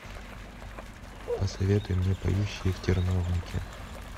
посоветуй мне поющие в терновнике